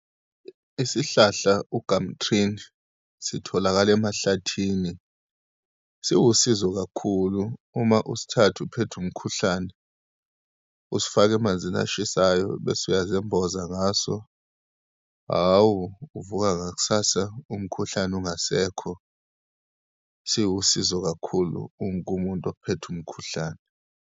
Isihlahla u-gumtree-ni, sitholakala emahlathini. Siwusizo kakhulu uma usithatha uphethwe umkhuhlane, usifake emanzini ashisayo, bese uyazemboza ngaso, hhawu uvuka, ngakusasa umkhuhlane ungasekho. Siwusizo kakhulu kuwonke umuntu ophethwe umkhuhlane.